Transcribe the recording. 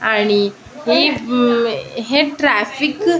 आणि ही हे ट्रॅफिक --